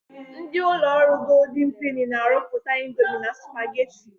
Ndị ụlọ ọrụ Goldin Peni na-arụpụta indomi na supageti.